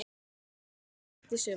Liðið verður styrkt í sumar.